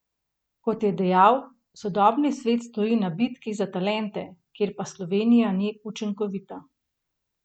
Kot je dejal, sodobni svet stoji na bitki za talente, kjer pa Slovenija ni učinkovita.